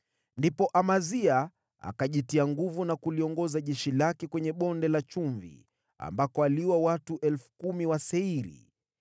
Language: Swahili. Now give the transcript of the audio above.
Ndipo Amazia akajitia nguvu na kuliongoza jeshi lake kwenye Bonde la Chumvi, ambako aliua watu 10,000 wa Seiri.